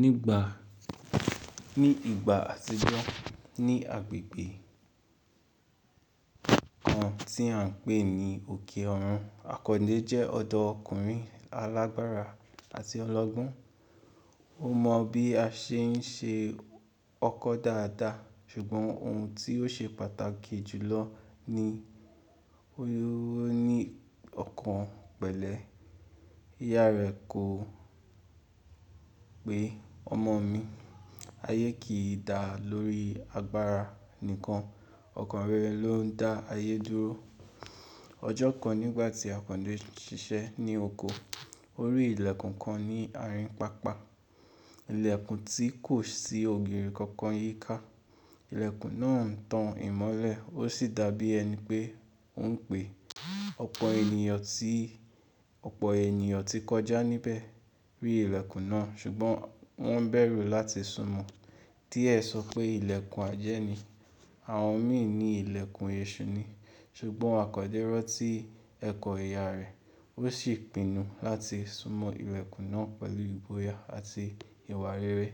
Ní ìgbà àtijọ́ ní agbègbè kan tí à n pè ní òkè ọrun, àkọ́ndé jẹ́ ọ̀dọ́ ọkùnrin alágbára àti ọlọ́gbọ́n. Ó mọ bí a ṣe n ṣe ọkọ dáadáa ṣùgbọ́n ohun tí ó ṣe pàtàkì jùlọ ni o ní ọkàn pẹ̀lẹ́. Ìyá rẹ̀ kò pé ọmọ mi, ayé kì í dà lórí agbára nìkan, ọkàn rẹ ló ń dá ayé dúró. Ọjọ́ kan nígbà tí àkọ́ndé ṣiṣẹ́ ní oko, ó rí ìlẹ̀kùn kan ní àárín pápá. Ìlẹ̀kùn tí kò sí ògiri kankan yíká. Ìlẹ̀kùn náà ń tan ìmọ́lẹ̀, ó sì dàbí ẹni pé ó ń pè. Ọ̀pọ̀ ènìyàn tí kọjá níbẹ̀ rí ìlẹ̀kùn náà ṣùgbọ́n wọ́n bẹ̀rù láti súnmọ́. Díẹ sọ pé ìlẹ̀kùn ajẹ́ ni, àwọn mi ní ìlẹ̀kùn èṣù ni. Ṣùgbọ́n àkọ́ndé ran tí ẹ̀kọ́ ìyá rẹ̀, ó sì pinu láti súnmọ ìlẹ̀kùn náà pẹ̀lú ìbóya àti ìwà rere.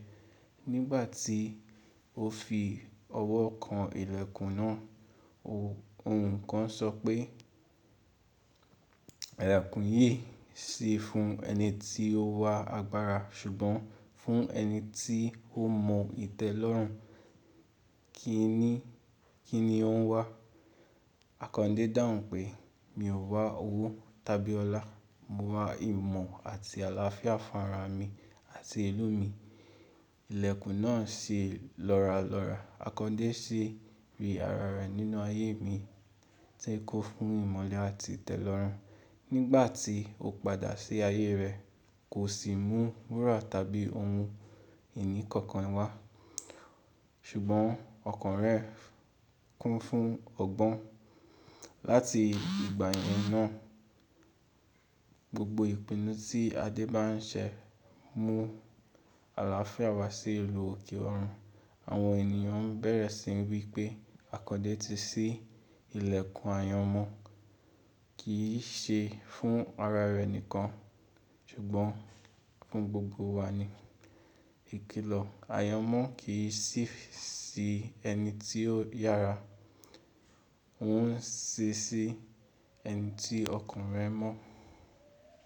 Nígbà tí ó fi ọwọ́ kan ìlẹ̀kùn náà, ohùn kan sọ pé, ìlẹ̀kùn yìí sì fún ẹni tí ó wa agbára ṣùgbọ́n fún ẹni tí ó mọ ìtẹ́lọ́rùn, kí ni ó ń wá? Àkọ́ndé dáhùn pé, mi ò wá owó tàbí ọlá, mo wá ìmọ̀ àti àlàáfíà fún ara mi àti ìlú mi. Ìlẹ̀kùn náà ṣi lọ́ralọ́ra. Àkọ́ndé sì rí ara rẹ̀ nínú ayé mi tí kun fún ìmọ̀le àti ìtẹ́lọ́rùn. Nígbà tí ó padà sí ayé rẹ̀ kò sì mú wúrà tàbí ohun ìní kankan wá. Ṣùgbọ́n ọkàn rẹ̀ kún fún ọgbọ́n. Láti ìgbà yẹn náà gbogbo ìpinnu tí Adé bá n ṣe mú àlàáfíà wá sí ìlú òkè ọrun. Àwọn ènìyàn bẹ̀rẹ̀ sí ní wí pé àkọ́ndé ti ṣí ìlẹ̀kùn ayọ́mọ́ kì í ṣe fún ara rẹ̀ nìkan ṣùgbọ́n fún gbogbo wa ni. Ìkìlọ̀ ayọ́nmọ́ kì í ṣí sí ẹni tí ó yára, ó ń ṣí sí ẹni tí ọkàn rẹ̀ mọ́.